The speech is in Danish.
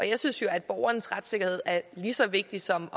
jeg synes jo at borgernes retssikkerhed er lige så vigtig som